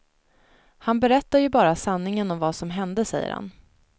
Han berättar ju bara sanningen om vad som hände, säger han.